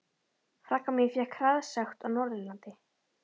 Frænka mín fékk hraðasekt á Norðurlandi.